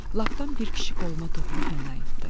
Lapdan bir kişi qoluma toxunub məni ayıltdı.